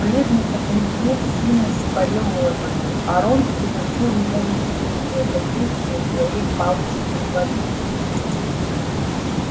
бледный как мертвец симус парил в воздухе а рон приносил ему извинения за действия своей палочки-инвалидки